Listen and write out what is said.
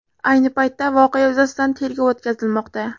Ayni paytda voqea yuzasidan tergov o‘tkazilmoqda.